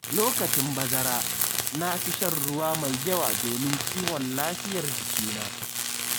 Lokacin bazara, na fi shan ruwa mai yawa domin kiwon lafiyar jikina.